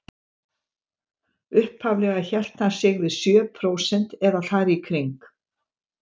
Upphaflega hélt hann sig við sjö prósent eða þar í kring.